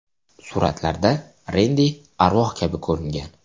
Suratlarda Rendi arvoh kabi ko‘ringan.